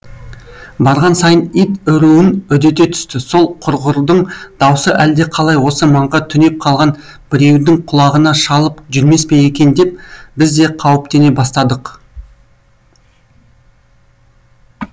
барған сайын ит үруін үдете түсті сол құрғырдың даусы әлдеқалай осы маңға түнеп қалған біреудің құлағына шалып жүрмес пе екен деп біз де қауіптене бастадық